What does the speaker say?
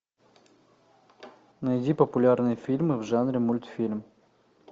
найди популярные фильмы в жанре мультфильм